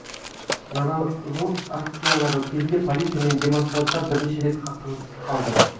наразылық акциялары кезінде полиция мен демонстранттар бірнеше рет қақтығысып қалды